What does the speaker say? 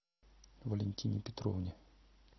валентине петровне